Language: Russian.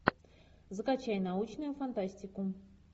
закачай научную фантастику